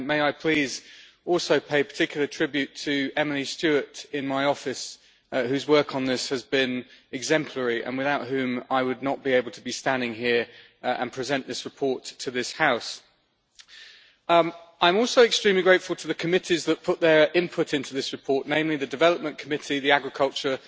And may I please also pay particular tribute to Emily Stewart in my office whose work on this has been exemplary and without whom I would not be able to be standing here and present this report to this House? I'm also extremely grateful to the committees that put their input into this report, namely the Development Committee, the Agriculture